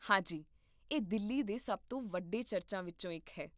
ਹਾਂ ਜੀ, ਇਹ ਦਿੱਲੀ ਦੇ ਸਭ ਤੋਂ ਵੱਡੇ ਚਰਚਾਂ ਵਿੱਚੋਂ ਇੱਕ ਹੈ